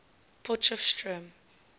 potchefstroom